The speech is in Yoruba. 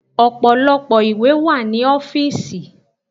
Ọ̀pọ̀lọpọ̀ ìwé wà ní ọ́fìsì.